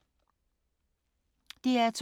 DR2